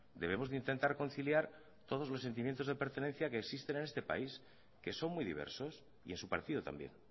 debemos de intentar conciliar todos los sentimientos de pertenencia que existen en este país que son muy diversos y en su partido también